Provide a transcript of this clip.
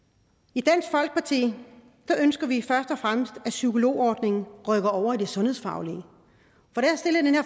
i dansk folkeparti ønsker vi først og fremmest at psykologordningen rykker over i det sundhedsfaglige